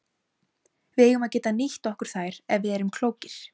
Við eigum að geta nýtt okkur þær ef við erum klókir.